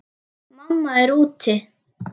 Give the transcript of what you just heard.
Mamma er úti.